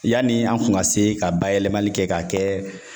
Yani an kun ka se ka bayɛlɛmali kɛ k'a kɛ